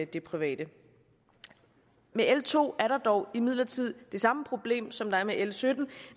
det private med l to er der dog imidlertid det samme problem som der er med l sytten